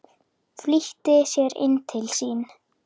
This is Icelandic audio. Flýtti sér inn til sín.